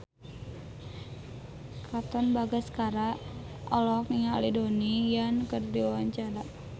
Katon Bagaskara olohok ningali Donnie Yan keur diwawancara